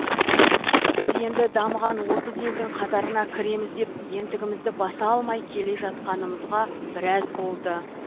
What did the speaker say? біз енді дамыған отыз елдің қатарына кіреміз деп ентігімізді баса алмай келе жатқанымызға біраз болды